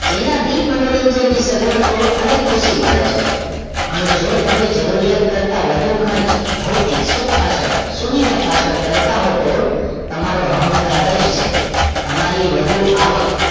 જેનાથી જ મનોરંજન ની સગવડ તો અનેક ખુશી મળે છે પણ જો તમે જરૂરિયાત કરતા વધુ ખર્ચ ભૌતિક સુખ પાછળ સુવિધા પાછળ કરતા હોવ તો તમારો અહંકાર જ છે તમારી વધુ આવક